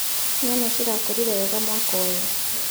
Nyanya cirakũrire wega mwaka ũyũ.